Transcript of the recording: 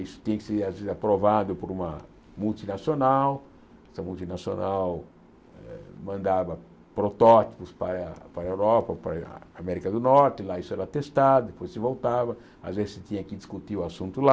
Isso tinha que ser, às vezes, aprovado por uma multinacional, essa multinacional mandava protótipos para a para a Europa, para a América do Norte, lá isso era testado, depois se voltava, às vezes se tinha que discutir o assunto lá.